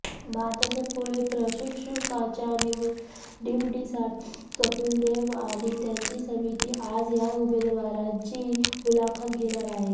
भारताच्या पुढील प्रशिक्षकाच्या निवडीसाठी कपिल देव आणि त्यांची समिती आज या उमेदवारांची मुलाखत घेणार आहे